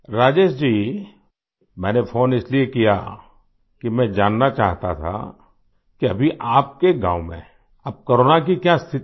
राजेश जी मैंने फ़ोन इसलिए किया कि मैं जानना चाहता था कि अभी आपके गाँव में अब कोरोना की क्या स्थिति है